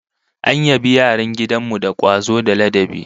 An yabi yaran gidan mu da kwazo da ladabi